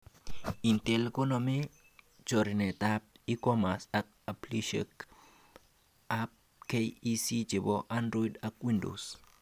Intel koneme choranetab e-commerce ak appishekab KEC chebo Android ak Windows